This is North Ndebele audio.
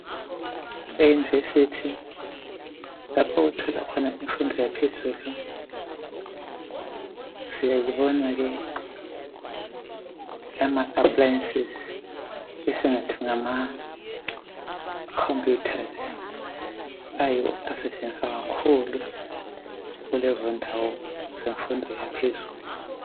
Eyunivesithi lapho othola khona imfundo yaphezulu siyayibona ke ama aplayensizi esingathi ngama khomputhazi ayiwo asetshenziswa kakhulu kulezondawo zemfundo yaphezulu